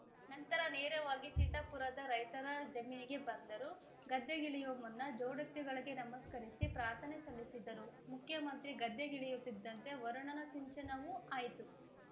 ನಂತರ ನೇರವಾಗಿ ಸೀತಾಪುರದ ರೈತರ ಜಮೀನಿಗೆ ಬಂದರು ಗದ್ದೆಗಿಳಿಯುವ ಮುನ್ನ ಜೊಡೆತ್ತುಗಳಿಗೆ ನಮಸ್ಕರಿಸಿ ಪ್ರಾರ್ಥನೆ ಸಲ್ಲಿಸಿದರು ಮುಖ್ಯಮಂತ್ರಿ ಗದ್ದೆಗಿಳಿಯುತ್ತಿದ್ದಂತೆ ವರುಣನ ಸಿಂಚನವೂ ಆಯಿತು